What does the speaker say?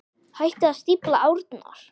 Hættið að stífla árnar.